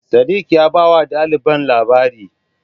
Sadiq ya bawa ɗaliban labari.